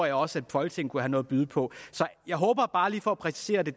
at også folketinget kunne have noget at byde på så bare lige for at præcisere det